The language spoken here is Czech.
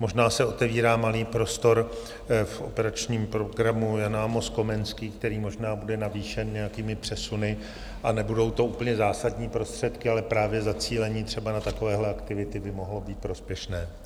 Možná se otevírá malý prostor v Operačním programu Jan Amos Komenský, který možná bude navýšen nějakými přesuny - nebudou to úplně zásadní prostředky, ale právě zacílení třeba na takovéhle aktivity by mohlo být prospěšné.